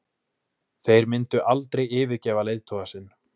Þeir myndu aldrei yfirgefa leiðtoga sinn